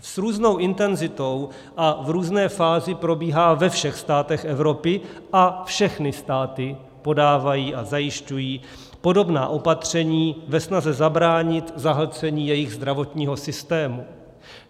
S různou intenzitou a v různé fázi probíhá ve všech státech Evropy a všechny státy podávají a zajišťují podobná opatření ve snaze zabránit zahlcení jejich zdravotního systému.